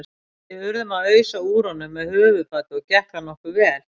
Við urðum að ausa úr honum með höfuðfati og gekk það nokkuð vel.